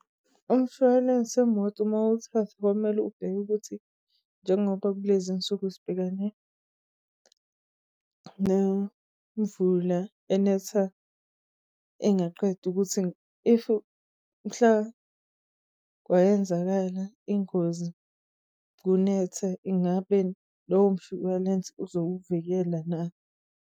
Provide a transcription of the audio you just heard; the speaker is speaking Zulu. Umshwalense wemoto mawuthatha kwamele ubheke ukuthi njengoba kulezinsuku sibhekane nemvula enetha engaqedi ukuthi if-u mhla kwayenzakala ingozi kunethe ingabe lowo mshwalense uzokuvikela na?